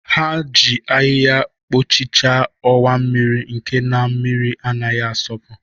Ha ji ahịhịa kpochichaa ọwa mmiri nke na-mmiri anaghị asọpụ.